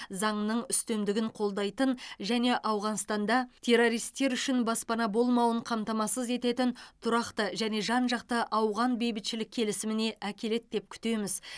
заңның үстемдігін қолдайтын және ауғанстанда террористер үшін баспана болмауын қамтамасыз ететін тұрақты және жан жақты ауған бейбітшілік келісіміне әкеледі деп күтеміз